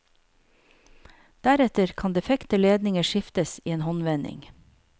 Deretter kan defekte ledninger skiftes i en håndvending.